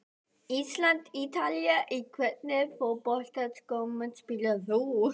Ísland- Ítalía Í hvernig fótboltaskóm spilar þú?